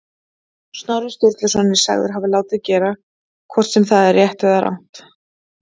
Snorri Sturluson er sagður hafa látið gera, hvort sem það er rétt eða rangt.